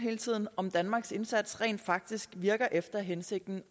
om danmarks indsats rent faktisk virker efter hensigten